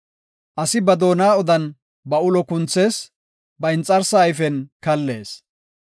Asi ba doona odan ba ulo kunthees; ba inxarsaa ayfen kallees.